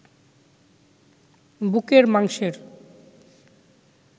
বুকের মাংসের